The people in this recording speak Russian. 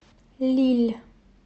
лилль